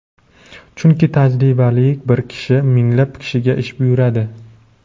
Chunki tajribali bir kishi minglab kishiga ish buyuradi..